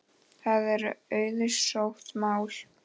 Það er auðsótt mál.